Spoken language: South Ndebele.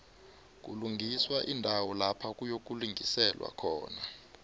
kulungiswa iindawo lapha kuyokulingiselwa khona